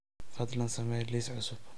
fadlan samee liis cusub